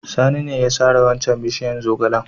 Sani ne ya sare waccan bishiyar zogalen.